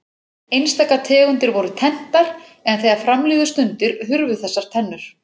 Einstaka tegundir voru tenntar en þegar fram liðu stundir hurfu þessar tennur.